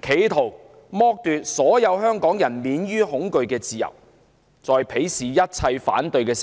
企圖剝奪所有香港人免於恐懼的自由，更鄙視一切反對聲音。